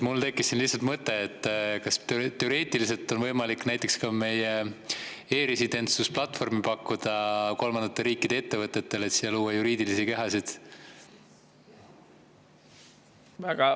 Mul tekkis lihtsalt mõte, kas teoreetiliselt on võimalik pakkuda meie e‑residentsuse platvormi kolmandate riikide ettevõtetele, et siia luua juriidilisi kehasid.